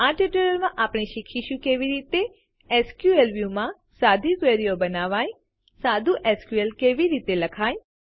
આ ટ્યુટોરીયલમાં આપણે શીખીશું કે કેવી રીતે એસક્યુએલ વ્યૂ માં સાદી ક્વેરીઓ બનાવાય સાદું એસક્યુએલ કેવી રીતે લખાય